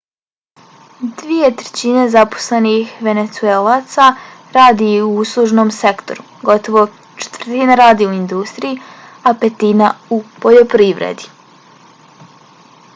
dvije trećine zaposlenih venecuelaca radi u uslužnom sektoru gotovo četvrtina radi u industriji a petina u poljoprivredi